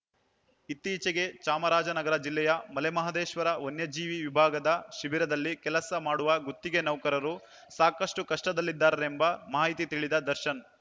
ಇತ್ತೀಚೆಗೆ ಚಾಮರಾಜನಗರ ಜಿಲ್ಲೆಯ ಮಲೆಮಹದೇಶ್ವರ ವನ್ಯಜೀವಿ ವಿಭಾಗದ ಶಿಬಿರದಲ್ಲಿ ಕೆಲಸ ಮಾಡುವ ಗುತ್ತಿಗೆ ನೌಕರರು ಸಾಕಷ್ಟುಕಷ್ಟದಲ್ಲಿದ್ದಾರೆಂಬ ಮಾಹಿತಿ ತಿಳಿದ ದರ್ಶನ್‌